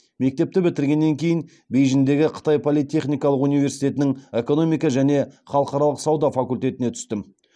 мектепті бітіргеннен кейін бейжіңдегі қытай политехникалық университетінің экономика және халықаралық сауда факультетіне түстім